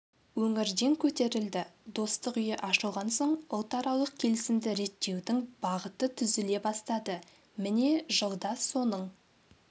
өңірден көтерілді достық үйі ашылған соң ұлтаралық келісімді реттеудің бағыты түзіле бастады міне жылда соның